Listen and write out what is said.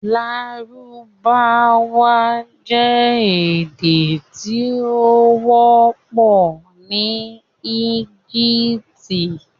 Lárúbáwá jẹ̀ èdè tí o wọ̀pọ̀ ni Ẹ́gíptì